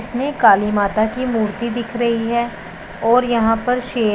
इसमें काली माता की मूर्ति दिख रही है और यहां पर शे--